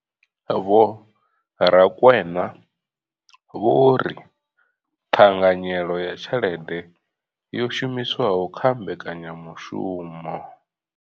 Vho Rakwena vho ri ṱhanganyelo ya tshelede yo shumiswaho kha mbekanyamushumo.